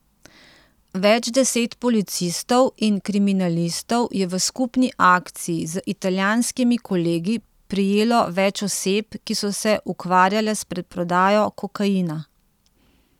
Več deset policistov in kriminalistov je v skupni akciji z italijanskimi kolegi prijelo več oseb, ki so se ukvarjale s preprodajo kokaina.